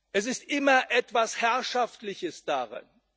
Es ist immer etwas Herrschaftliches darin.